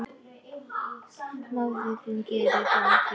Móðir þín gerir það ekki.